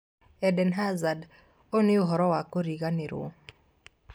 Eden Hazard: 'Ũyũ nĩ ũhoro wa kũriganĩrũo'